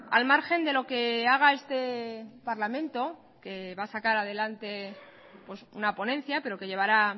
al margen de lo que haga este parlamento que va a sacar adelante una ponencia pero que llevará